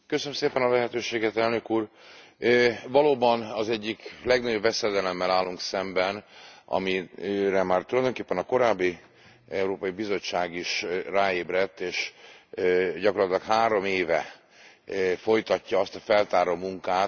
Valóban az egyik legnagyobb veszedelemmel állunk szemben, amire már tulajdonképpen a korábbi Európai Bizottság is ráébredt, és gyakorlatilag három éve folytatja azt a feltáró munkát, ami ennek az egész árnyékbanki rendszernek a